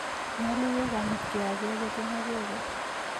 Nyalu kegonyitkey acheket eng' acheket